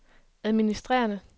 administrerende